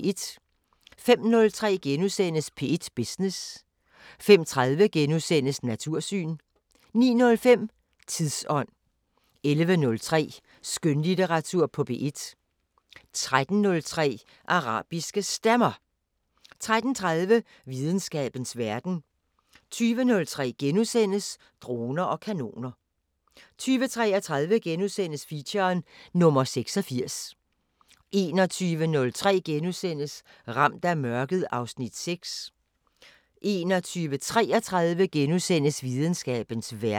05:03: P1 Business * 05:30: Natursyn * 09:05: Tidsånd 11:03: Skønlitteratur på P1 13:03: Arabiske Stemmer 13:30: Videnskabens Verden 20:03: Droner og kanoner * 20:33: Featuren: Nr. 86 * 21:03: Ramt af mørket (Afs. 6)* 21:33: Videnskabens Verden *